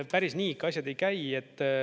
Päris nii ikka asjad ei käi.